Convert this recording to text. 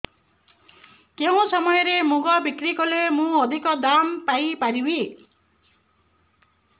କେଉଁ ସମୟରେ ମୁଗ ବିକ୍ରି କଲେ ମୁଁ ଅଧିକ ଦାମ୍ ପାଇ ପାରିବି